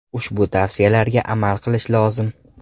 Ushbu tavsiyalarga amal qilish lozim.